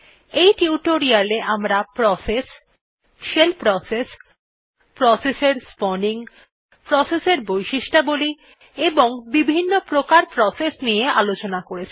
এই টিউটোরিয়ালে আমরা প্রসেস শেল প্রসেস প্রসেস এর স্পাউনিং প্রসেস এর বৈশিষ্ঠবলী এবং বিভিন্ন্ প্রকার প্রসেস নিয়ে আলোচনা করেছি